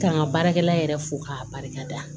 Ka n ka baarakɛla yɛrɛ fo k'a barika da